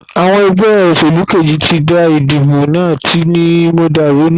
Àwọn egbé òsèlú Kejì tí dá ìdìbò náà tí ni mọ̀dàrú nínú.